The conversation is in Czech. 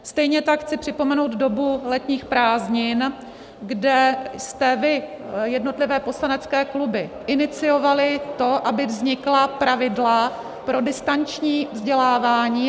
Stejně tak chci připomenout dobu letních prázdnin, kde jste vy, jednotlivé poslanecké kluby, iniciovali to, aby vznikla pravidla pro distanční vzdělávání.